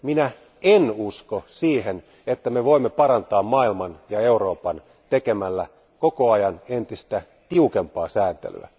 Minä en usko siihen, että me voimme parantaa maailman ja Euroopan tekemällä koko ajan entistä tiukempaa sääntelyä.